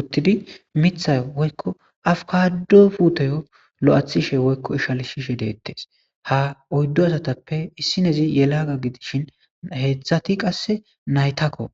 uttidi mithay woykko afkado puutoyo lo7athishe woykko ishal shiishe deettes ha oyddu asatappe issinezi ye laaga gidishin heedzdzati qasse naytakko